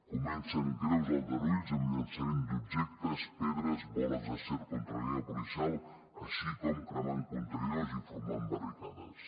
comencen greus aldarulls amb llançament d’objectes pedres boles d’acer contra la línia policial així com cremant contenidors i formant barricades